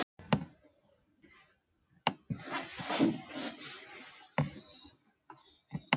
Hann pírði augun, þegar hann kveikti í pípunni.